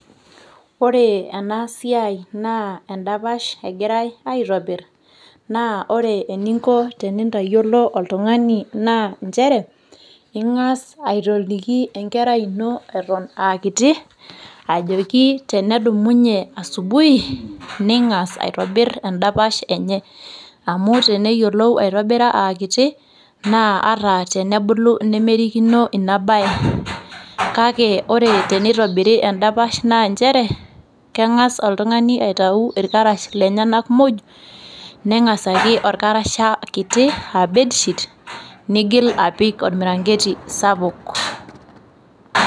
Ore ena siaa inaa endapash engirae aitobir ,naa ore eninko tenintayiolo oltungani naa nchere ingas aatoliki enkerai ino aa kiti ajoki tenedumunye asubuhi , ningas aitobir endapash enye . Amu teneyiolou aitobira aa kiti naa ata tenebulu nemerikino ina bae . Kake ore tenitobiri endapash naa nchere kengas oltungani aitayu irkarash lenyenak muj , nengasaki orkasasha kiti a bedsheet, nigil apik ormirangeti sapuk.